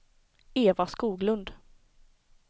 Eva Skoglund